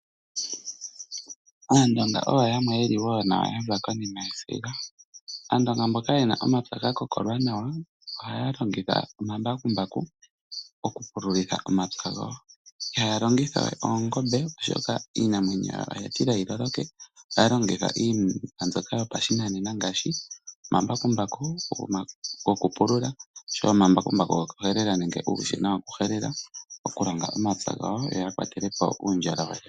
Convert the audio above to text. Aandonga oyo yamwe ye li wo ya za konima yesiga. Aandonga mboka ye na omapya ga kokolwa nawa ohaya longitha omambakumbaku okupululitha omapya gawo. Ihaya longitha oongombe, oshoka iinamwenyo yawo oya tila yi loloke. Ohaya longitha iinima mbyoka yopashinanena ngaashi omambakumbaku gokupulula noshowo omambakumbaku gokuhelela nenge uushina wokuhelela okulonga omapya gawo yo ya kwatele po uundjolowele.